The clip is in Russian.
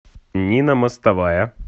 нина мостовая